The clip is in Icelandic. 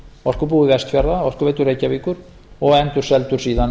orkubúi vestfjarða orkuveitu reykjavíkur og endurseldur síðan